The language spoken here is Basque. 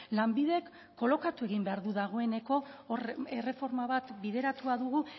lanbidek kolokatu egin behar du dagoeneko hor erreforma bat bideratua dugu